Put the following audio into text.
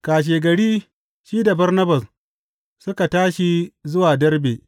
Kashegari shi da Barnabas suka tashi zuwa Derbe.